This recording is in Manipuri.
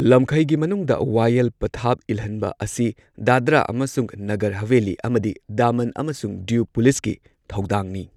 ꯂꯝꯈꯩꯒꯤ ꯃꯅꯨꯡꯗ ꯋꯥꯌꯦꯜ ꯄꯊꯥꯞ ꯏꯜꯍꯟꯕ ꯑꯁꯤ ꯗꯥꯗ꯭ꯔꯥ ꯑꯃꯁꯨꯡ ꯅꯒꯔ ꯍꯕꯦꯂꯤ ꯑꯃꯗꯤ ꯗꯃꯟ ꯑꯃꯁꯨꯡ ꯗꯤꯎ ꯄꯨꯂꯤꯁꯀꯤ ꯊꯧꯗꯥꯡꯅꯤ꯫